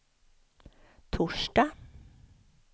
torsdag